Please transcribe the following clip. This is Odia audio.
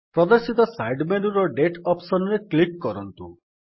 ପ୍ରଦର୍ଶିତ ସାଇଡ୍ ମେନୁର ଦାତେ ଅପ୍ସନ୍ ରେ କ୍ଲିକ୍ କରନ୍ତୁ